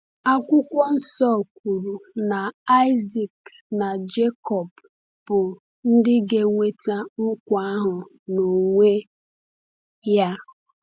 Akwụkwọ Nsọ kwuru na Isaac na Jekọb bụ ndị ga-enweta nkwa ahụ n’onwe ya.